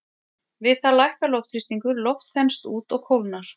Við það lækkar loftþrýstingur, loftið þenst út og kólnar.